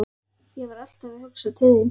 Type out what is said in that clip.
Ég var alltaf að hugsa til þín.